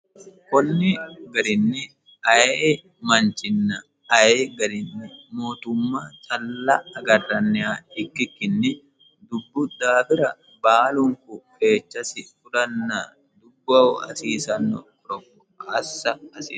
kunni garinni aye e manchinna aye garinni mootumma calla agarranniha ikkikkinni dubbu daaira baalunku keechasi fulanna dubboho hasiisanno qoropho assa assa hasiissa